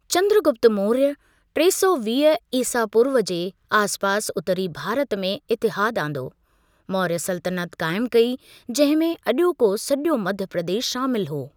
चंद्रगुप्त मौर्य टे सौ वीह ईसा पूर्व जे आसिपासि उत्तरी भारत में इतिहादु आंदो, मौर्य सल्तनत क़ाइमु कई, जंहिं में अजो॒को सॼो मध्य प्रदेश शामिलु हो।